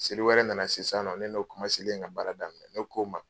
Seli wɛrɛ nana se sisannɔ ne n'o ka baara daminɛ ne ko'o ma.